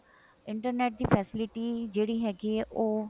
internet ਦੀ ਜਿਹੜੀ facility ਹੈਗੀ ਆ ਉਹ